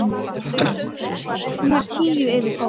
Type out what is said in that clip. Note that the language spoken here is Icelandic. Hún var tíu yfir tólf.